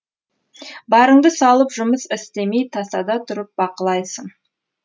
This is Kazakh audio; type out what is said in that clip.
барыңды салып жұмыс істемей тасада тұрып бақылайсын